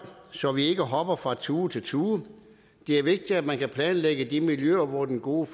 så vi ikke hopper fra tue til tue det er vigtigt at man kan planlægge de miljøer hvor den gode